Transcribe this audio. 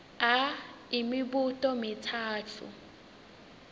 a imibuto mitsatfu